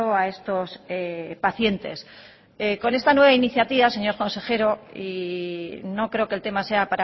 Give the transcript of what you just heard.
a estos pacientes con esta nueva iniciativa señor consejero y no creo que el tema sea